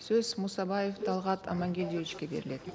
сөз мұсабаев талғат амангельдиевичке беріледі